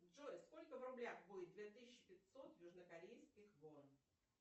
джой сколько в рублях будет две тысячи пятьсот южнокорейских вон